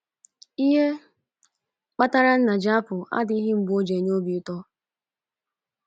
Ihe kpatara nna ji apụ adịghị mgbe ọ na - enye obi ụtọ.